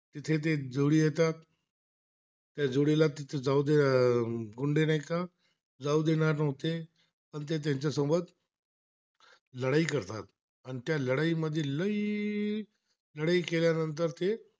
आणि ते त्याचासोबत लढाई करतात, लढाईमधील लईई लढाई केल्यानंतर ते